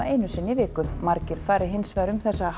einu sinni í viku margir fari hins vegar um þessa